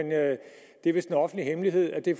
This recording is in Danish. det er vist en offentlig hemmelighed at det